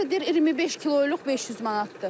Hardasa deyir 25 kiloluq 500 manatdır.